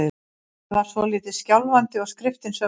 Stoltið var svolítið skjálfandi- og skriftin sömuleiðis.